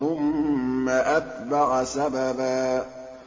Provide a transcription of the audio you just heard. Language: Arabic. ثُمَّ أَتْبَعَ سَبَبًا